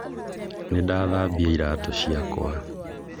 Nĩndathambia iratũ ciakwa